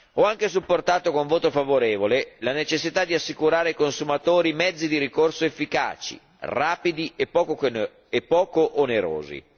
Ho anche supportato con voto favorevole la necessità di assicurare ai consumatori mezzi di ricorso efficaci, rapidi e poco onerosi.